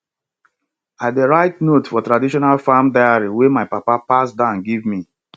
i dey write notes for traditional farm diary wey my papa pass down give me